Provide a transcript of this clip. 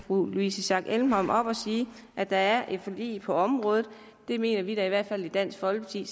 louise schack elholm op og sige at der er et forlig på området det mener vi da i hvert fald i dansk folkeparti